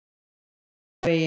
Skildingavegi